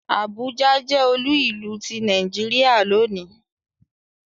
Àbújá jẹ́ olú ìlú ti Nàìjíríà lónìí